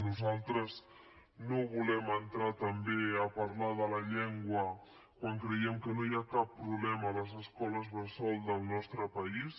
nosaltres no volem entrar també a parlar de la llengua quan creiem que no hi ha cap problema a les escoles bressol del nostre país